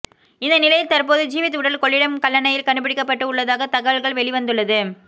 இந்த நிலையில் தற்போது ஜீவித் உடல் கொள்ளிடம் கல்லணையில் கண்டுபிடிக்கப்பட்டு உள்ளதாக தகவல்கள் வெளிவந்துள்ளது